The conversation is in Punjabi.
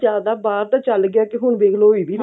ਬਾਹਰ ਤਾਂ ਚੱਲ ਗਿਆ ਹੁਣ ਦੇਖਲੋ ਇਹ ਵੀ